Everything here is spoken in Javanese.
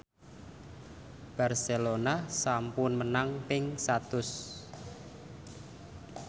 Barcelona sampun menang ping satus